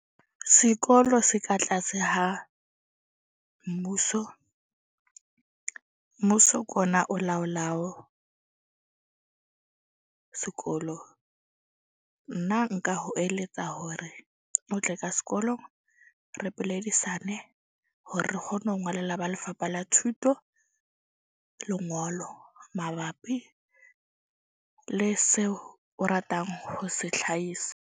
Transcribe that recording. Sekolo se ka tlase ha mmuso. Mmuso ke ona o laolawo sekolo. Nna nka ho eletsa hore o tle ka sekolong. Re buledisane hore re kgone ho ngolla ba Lefapha la Thuto lengolo mabapi le seo o ratang ho se hlahisa.